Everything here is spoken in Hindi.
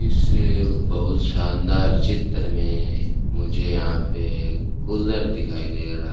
इसे बहुत शानदार चित्र में मुझे यहां पर कूलर दिखाई दे रहा।